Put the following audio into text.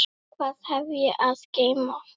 Hvað hef ég að geyma?